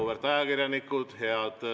Auväärt ajakirjanikud!